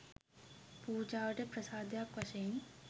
පූජාවට ප්‍රසාදයක් වශයෙන්